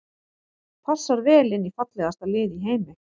Passar vel inn í fallegasta lið í heimi.